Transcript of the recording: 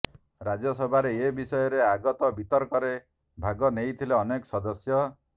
ରାଜ୍ୟ ସଭାରେ ଏ ବିଷୟରେ ଆଗତ ବିତର୍କରେ ଭାଗ ନେଇଥିଲେ ଅନେକ ସଦସ୍ୟ